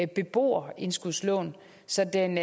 beboerindskudslån så den